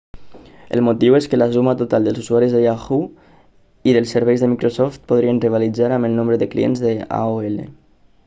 el motiu és que la suma total d'usuaris de yahoo i dels serveis de microsoft podrien rivalitzar amb el nombre de clients d'aol